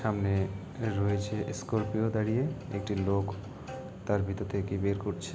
সামনে রয়েছে স্কোরপিও দাঁড়িয়ে একটি লোক তার ভিতর দিয়ে কি বের করছে--